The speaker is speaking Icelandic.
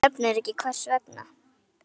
Hún nefnir ekki hvers vegna.